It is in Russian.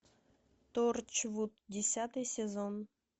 торчвуд десятый сезон